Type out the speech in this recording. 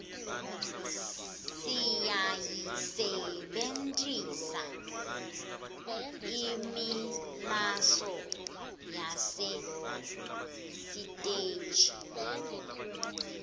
siyayisebertisela nemllslalo yasesiteji